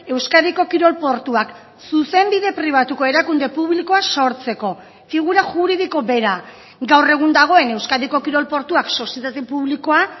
euskadiko kirol portuak zuzenbide pribatuko erakunde publikoa sortzeko figura juridiko bera gaur egun dagoen euskadiko kirol portuak sozietate publikoa